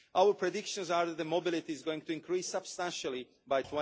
Our prediction is that mobility is going to increase substantially by